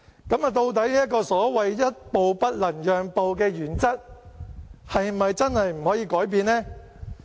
究竟這個所謂一步不能讓的原則，是否真的不可以改變呢？